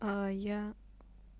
аа я